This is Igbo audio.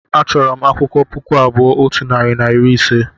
achọrọ m akwụkwọ puku abụọ otu narị na iri ise